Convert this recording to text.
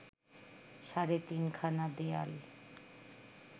সাড়ে তিনখানা দেয়াল